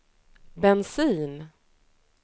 bensin